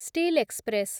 steel express